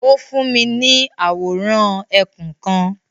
O fún mi ni awóran ẹkún kan